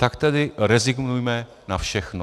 Tak tedy rezignujme na všechno."